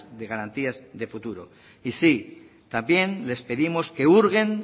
de garantías de futuro y sí también les pedimos que hurguen